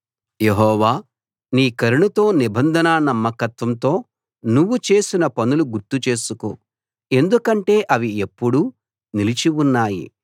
యెహోవా నీ కరుణతో నిబంధన నమ్మకత్వంతో నువ్వు చేసిన పనులు గుర్తు చేసుకో ఎందుకంటే అవి ఎప్పుడూ నిలిచి ఉన్నాయి